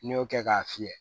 N'i y'o kɛ k'a fiyɛ